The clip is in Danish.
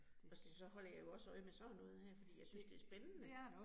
Og så holder jeg jo også øje med sådan noget her fordi jeg synes det spændende